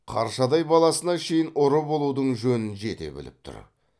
қаршадай баласына шейін ұры болудың жөнін жете біліп тұр